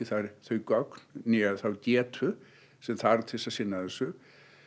þau gögn né þá getu sem þarf til þess að sinna þessu